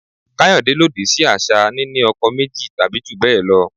Kayode lòdì sí àṣà níni ọkọ méjì tàbí jù bẹ́ẹ̀ lọ.